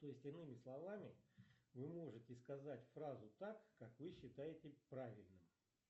то есть иными словами вы можете сказать фразу так как вы считаете правильным